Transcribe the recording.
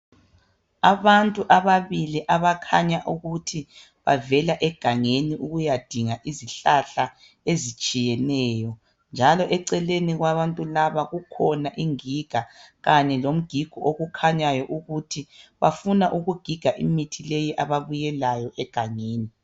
Abantu ababili abakhanya ukuba bavela egangani ukuya dinga izihlahla ezitshiyeneyo njalo eceleni kwbantu laba kukhona ingiga kanye lomgigo okukhanyayo ukuthi bafuna ukugiga imithi leyo ababuye layo egangeni